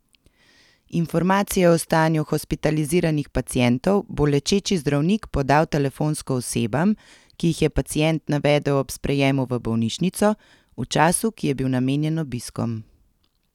Informacije o stanju hospitaliziranih pacientov bo lečeči zdravnik podal telefonsko osebam, ki jih je pacient navedel ob sprejemu v bolnišnico, v času, ki je bil namenjen obiskom.